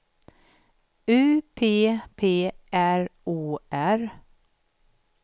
U P P R O R